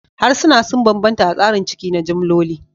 Harsuna sun bambanta a tsarin ciki na jimloli